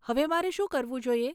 હવે મારે શું કરવું જોઈએ?